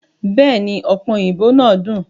Bẹ́èni, ọ̀pẹ òyìnbó náà dùn.